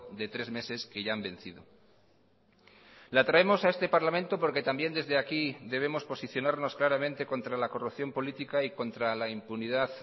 de tres meses que ya han vencido la traemos a este parlamento porque también desde aquí debemos posicionarnos claramente contra la corrupción política y contra la impunidad